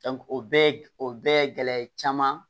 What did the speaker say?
o bɛɛ o bɛɛ gɛlɛya caman